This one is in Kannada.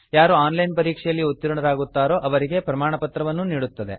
ಯಾರು ಆನ್ ಲೈನ್ ಪರೀಕ್ಷೆಯಲ್ಲಿ ಉತ್ತೀರ್ಣರಾಗುತ್ತಾರೋ ಅವರಿಗೆ ಪ್ರಮಾಣಪತ್ರವನ್ನೂ ನೀಡುತ್ತದೆ